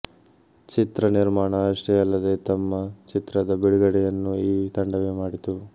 ಚಿತ್ರ ನಿರ್ಮಾಣ ಅಷ್ಟೇ ಅಲ್ಲದೆ ತಮ್ಮ ಚಿತ್ರದ ಬಿಡುಗಡೆಯನ್ನೂ ಈ ತಂಡವೇ ಮಾಡಿತು